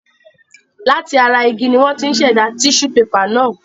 Láti ara igi ni wọ́n ti ń ṣẹ̀dá tíṣú pepà náà.